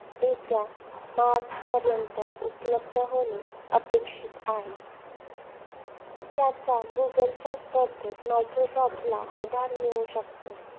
येत्या मार्चपर्यंत उपलब्ध होणं अपेक्षित आहे. त्याचा गुगलच्या स्पर्धेत मायक्रोसॉफ्टला आधार मिळू शकतो.